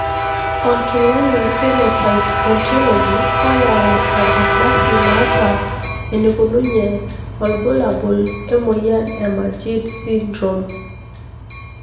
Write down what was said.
Oltungani Phenotype Ontology oyau enkardasi naata enikununye olbulabul emoyian Majeed syndrome.